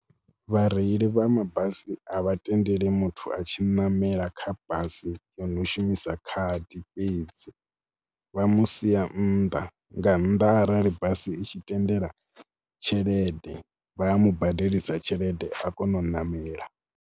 Vhareili vha mabasi a vha tendeli muthu a tshi ṋamela kha basi yo no shumisa khadi fhedzi vha mu sia nnḓa, nga nnḓa arali basi i tshi tendela tshelede. Vha a mu badelisa tshelede a kona u ṋamela.